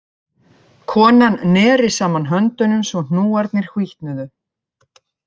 Konan neri saman höndunum svo hnúarnir hvítnuðu